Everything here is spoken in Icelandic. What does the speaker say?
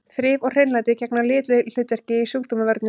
Þrif og hreinlæti gegna lykilhlutverki í sjúkdómavörnum.